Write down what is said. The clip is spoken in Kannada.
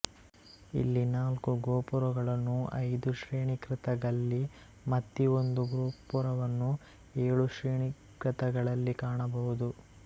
ಇಲ್ಲಿ ನಾಲ್ಕು ಗೋಪುರಗಳನ್ನು ಐದು ಶ್ರೇಣಿಕೃತಗಲ್ಲಿ ಮತ್ತಿ ಒಂದು ಗೋಪುರವನ್ನು ಏಳು ಶ್ರೇಣಿಕೃತಗಳಲ್ಲಿ ಕಾಣಬಹುದು